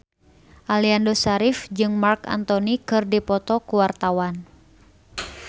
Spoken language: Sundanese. Aliando Syarif jeung Marc Anthony keur dipoto ku wartawan